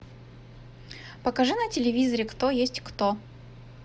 покажи на телевизоре кто есть кто